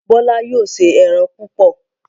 Bola yóò ṣe èràn púpọ.